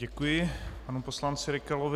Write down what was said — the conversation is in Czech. Děkuji panu poslanci Rykalovi.